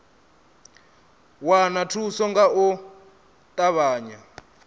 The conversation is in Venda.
wana thuso nga u ṱavhanya